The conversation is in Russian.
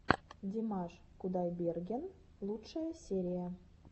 димаш кудайберген лучшая серия